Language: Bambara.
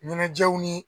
Ɲɛnajɛw ni